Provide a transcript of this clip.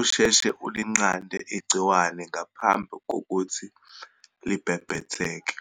usheshe ulinqande igciwane ngaphambi kokuthi libhebhetheke.